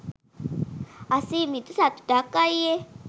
අසිමිත සතුටක් අයියේ.